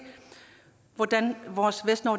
hvordan